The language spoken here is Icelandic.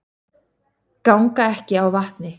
Ganga ekki á vatni